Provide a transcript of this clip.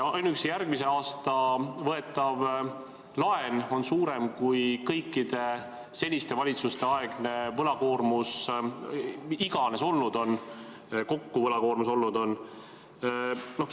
Ainuüksi järgmisel aastal võetav laen on suurem kui kõikide seniste valitsuste aegne võlakoormus kokku olnud on.